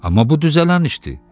Amma bu düzələn işdi.